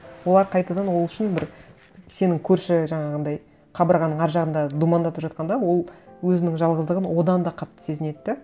олар қайтадан ол үшін бір сенің көрші жаңағындай қабырғаның ар жағында думандатып жатқанда ол өзінің жалғыздығын одан да қатты сезінеді де